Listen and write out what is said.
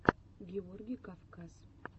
георгий кавказ